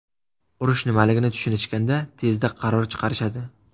Urush nimaligini tushunishganda tezda qaror chiqarishadi.